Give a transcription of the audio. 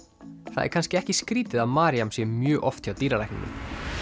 það er kannski ekki skrýtið að Maryam sé mjög oft hjá dýralækninum